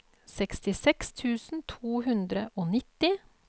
sekstiseks tusen to hundre og nitti